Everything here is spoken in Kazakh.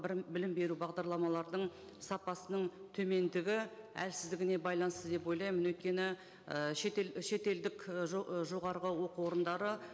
бір білім беру бағдарламалардың сапасының төмендігі әлсіздігіне байланысты деп ойлаймын өйткені ы шетел шетелдік і жоғарғы оқу орындары